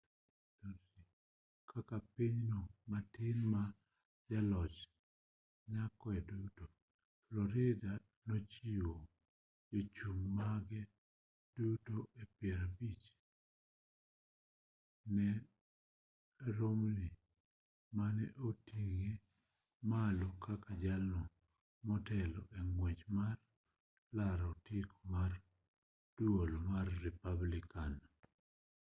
kaka pinyno matin ma jaloch yakoe duto florida nochiwo jochung' mage duto piero abich ne romney mane oting'e malo kaka jalno motelo e ng'wech mar laro otiko mar duol mar republican